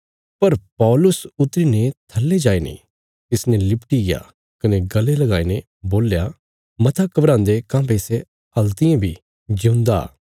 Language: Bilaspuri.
पर पौलुस उतरी ने थल्ले जाईने तिसने लिपटीग्या कने गल़े लगाईने बोल्या मता घबरान्दे काँह्भई सै हल्तियें बी जिऊंदा